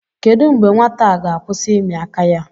Kedụ mgbe nwata a ga-akwụsị ịmị aka ya